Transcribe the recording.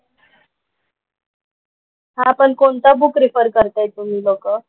हां पण कोणतं बुक रेफर करताय तुम्ही लोकं?